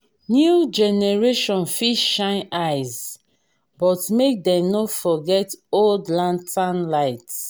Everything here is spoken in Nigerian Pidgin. new generation fit shine eyes but make dem no forget old lantern light.